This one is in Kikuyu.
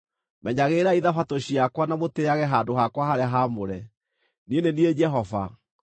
“ ‘Menyagĩrĩrai Thabatũ ciakwa na mũtĩĩage handũ hakwa harĩa haamũre. Niĩ nĩ niĩ Jehova.